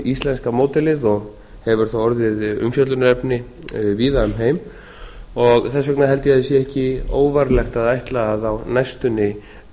íslenska módelið og hefur það orðið umfjöllunarefni víða um heim þess vegna held ég að það sé ekki óvarlegt að ætla að á næstunni